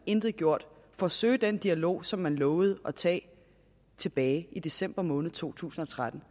intet gjort for at søge den dialog som man lovede at tage tilbage i december måned to tusind og tretten